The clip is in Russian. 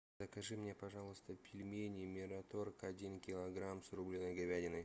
закажи мне пожалуйста пельмени мираторг один килограмм с рубленой говядиной